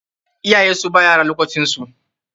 Iyaye su ba ea yaransu lokacin su.